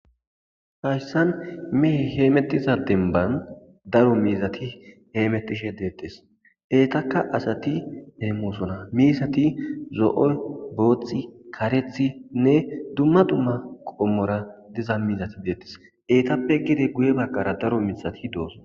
Hayissan meheyi hemetiza denibanni daro mizatti hemetishshe detees .etakka asati hemosona mizati zo'o boththi karethth le'e dumma dumma qomora diza muze detees.etappe gede guye bagara daro miththati dosona.